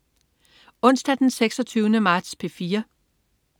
Onsdag den 26. marts - P4: